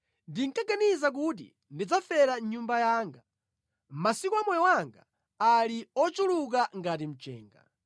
“Ndinkaganiza kuti, ‘Ndidzafera mʼnyumba yanga, masiku a moyo wanga ali ochuluka ngati mchenga.